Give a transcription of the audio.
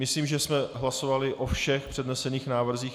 Myslím, že jsme hlasovali o všech přednesených návrzích.